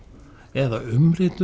eða